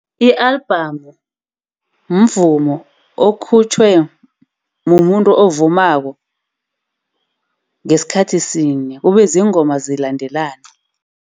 I-album mvumo okhutjwe mumuntu ovumako, ngesikhathi sinye ube ziingoma zilandelana.